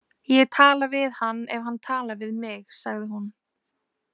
Ég tala við hann ef hann talar við mig, sagði hún.